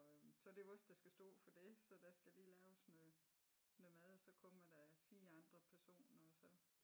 Så det vos der skal så stå for det så der skal lige laves noget noget mad og så kommer der 4 andre personer og så